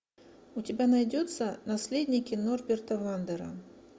у тебя найдется наследники норберта вандера